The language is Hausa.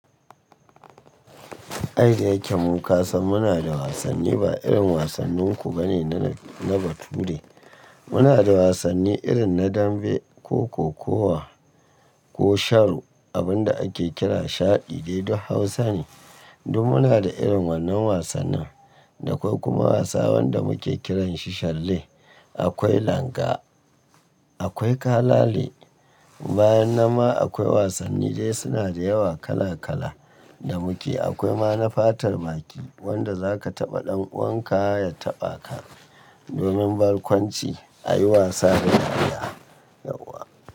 Ai daya ke mu kasan muna da wasanni ba irin wasannin ku bane na bature. Muna da wasanni irin na dambe ko kokawa ko sharo. Abin da ake kira shaɗi dai duk Hausa ne. Duk muna da irin wannan wasannin. Da akwai kuma wasa wanda muke kiran shi shalle. Akwai langa, akwai kalale. Bayan nan ma akwai wasanni dai suna da yawa kala kala da muke. Akwai ma na fatar baki wanda za ka taɓa ɗan uwanka ya taɓa ka domin barkwanci a yi wasa da ɗaya. Yauwa.